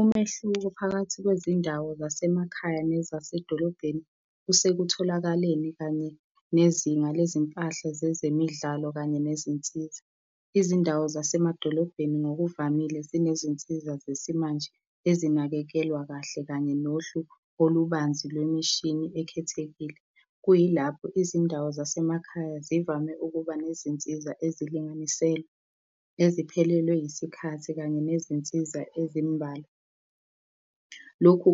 Umehluko phakathi kwezindawo zasemakhaya nezasedolobheni kusekutholakaleni kanye nezinga lezimpahla zezemidlalo kanye nezinsiza. Izindawo zasemadolobheni ngokuvamile zinezinsiza zesimanje ezinakekelwa kahle kanye nohlu olubanzi lwemishini ekhethekile, kuyilapho izindawo zasemakhaya zivame ukuba nezinsiza ezilinganiselwe eziphelelwe yisikhathi kanye nezinsiza ezimubalwa. Lokhu